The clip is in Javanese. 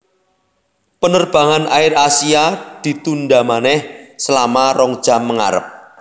Penerbangan AirAsia ditunda maneh selama rong jam mengarep